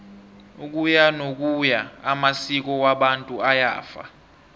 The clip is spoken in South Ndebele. ukuyanokuya amasko wabantu ayafa